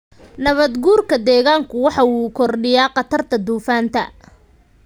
Nabaad-guurka deegaanku waxa uu kordhiyaa khatarta duufaanta.